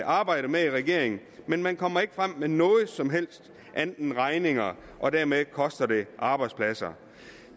arbejder med i regeringen men man kommer ikke frem med noget som helst andet end regninger og dermed koster det arbejdspladser